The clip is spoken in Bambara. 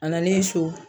A nalen so